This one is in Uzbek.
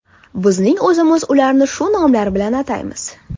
Bizning o‘zimiz ularni shu nomlar bilan ataymiz.